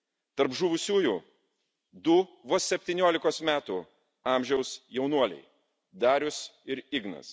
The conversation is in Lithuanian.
Tarp žuvusių du vos 17 kos metų amžiaus jaunuoliai Darius ir Ignas.